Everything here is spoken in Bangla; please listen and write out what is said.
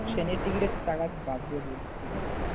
ট্রেনের টিকেটের টাকা বাদ দিয়ে বলছি ঠিক আছে?